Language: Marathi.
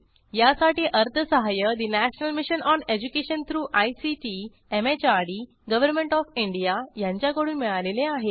यासाठी अर्थसहाय्य national mission on education through ICT MHRD government O F India यांच्याकडून मिळालेले आहे